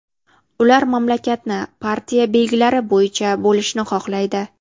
Ular mamlakatni partiya belgilari bo‘yicha bo‘lishni xohlaydi.